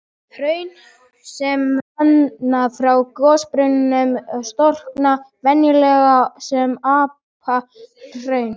Hraun sem renna frá gossprungum storkna venjulega sem apalhraun.